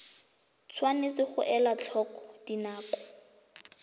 tshwanetse ga elwa tlhoko dinako